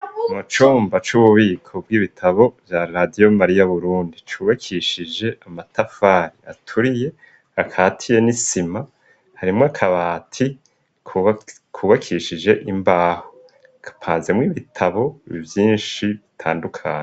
Mu comba c'ububiko bw'ibitabo vya radiyo mariya burundi cubakishije amatafari aturiye akatiye n'isima harimwo akabati kubakishije imbaho kapazemwo ibitabo i vyinshi bitandukane.